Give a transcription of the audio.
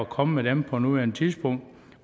komme med dem på nuværende tidspunkt